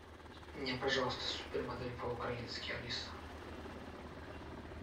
мне пожалуйста супермодель по украински алиса